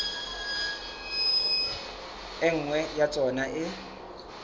e nngwe ya tsona e